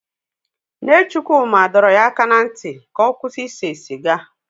Nne Chukwuma dọrọ ya aka ná ntị ka ọ kwụsị ise siga.